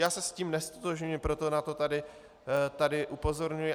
Já se s tím neztotožňuji, proto na to tady upozorňuji.